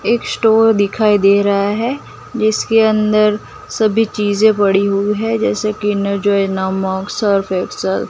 एक स्टोर दिखाई दे रहा है जिसके अंदर सभी चीज पड़ी हुई है जैसे किंडर जॉय नमक सर्फ एक्सेल --